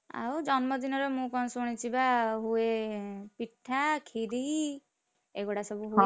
ଆଉ ଜନ୍ମ ଦିନରେ ମୁଁ କଣ ଶୁଣିଛି ବା ହୁଏ ପିଠା, କ୍ଷୀରି, ଏଗୁଡା ସବୁ ହୁଏ।